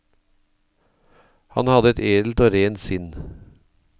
Han hadde et edelt og rent sinn.